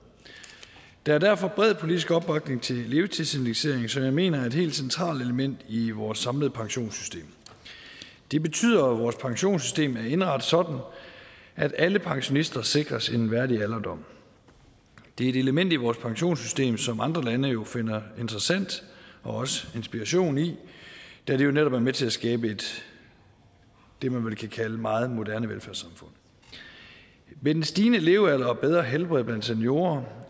der er derfor bred politisk opbakning til levetidsindekseringen som jeg mener er et helt centralt element i vores samlede pensionssystem det betyder at vores pensionssystem er indrettet sådan at alle pensionister sikres en værdig alderdom det er et element i vores pensionssystem som andre lande jo finder interessant og også inspiration i da det jo netop er med til at skabe det man vel kan kalde et meget moderne velfærdssamfund med den stigende levealder og bedre helbred blandt seniorer